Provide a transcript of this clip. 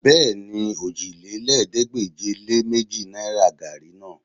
Bẹ́ẹ̀ni, òjìlélẹ́ẹ̀ẹ́dégbèje-lé-méjì náìrà gaàrí náà